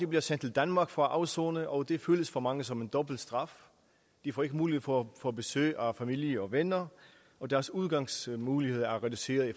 bliver sendt til danmark for at afsone og det føles for mange som en dobbelt straf de får ikke mulighed for at få besøg af familie og venner og deres udgangsmuligheder er reduceret i